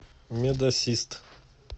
медассист